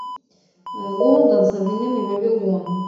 лондон современный вавилон